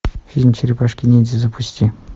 фильм черепашки ниндзя запусти